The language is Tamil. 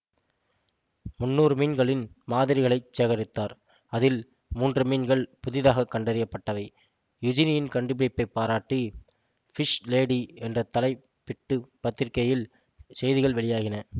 முன்னூறு மீன்களின் மாதிரிகளைச் சேகரித்தார் அதில் மூன்று மீன்கள் புதிதாக கண்டறியப்பட்டவை யுஜினியின் கண்டுபிடிப்பைப் பாராட்டி ஃபிஷ் லேடி என்று தலைப்பிட்டு பத்திரிகையில் செய்திகள் வெளியாகின